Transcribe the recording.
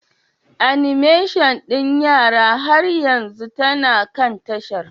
Animation ɗin yara har yanzu tana kan tashar?